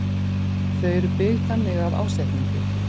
Þau eru byggð þannig af ásetningi.